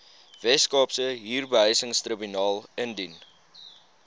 weskaapse huurbehuisingstribunaal indien